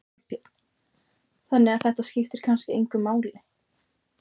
Þorbjörn: Þannig að þetta skiptir kannski engu máli?